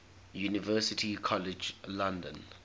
university college london